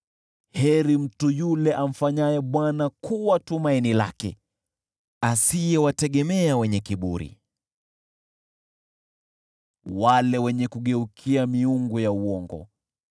Heri mtu yule amfanyaye Bwana kuwa tumaini lake, asiyewategemea wenye kiburi, wale wenye kugeukia miungu ya uongo.